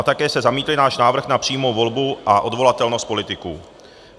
A také jste zamítli náš návrh na přímou volbu a odvolatelnost politiků.